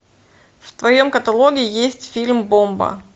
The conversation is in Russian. в твоем каталоге есть фильм бомба